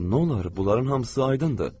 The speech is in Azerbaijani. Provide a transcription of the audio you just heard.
Nolar, bunların hamısı aydındır.